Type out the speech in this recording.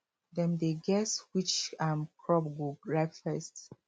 dem dey guess which um crop go ripe first